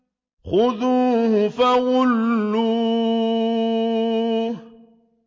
خُذُوهُ فَغُلُّوهُ